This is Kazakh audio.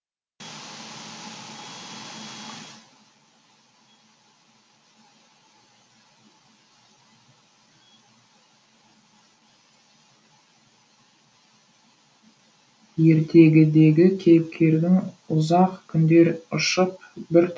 ертегідегі кейіпкердің ұзақ күндер ұшып бір